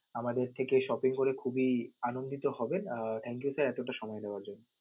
আমাদের থেকে shopping খুবই আনন্দিত হবেন আহ thank you sir এতটা সময় দেওয়ার জন্য.